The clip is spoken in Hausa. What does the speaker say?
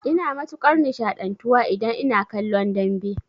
Ina matukar nishaɗantuwa idan ina kallon dambe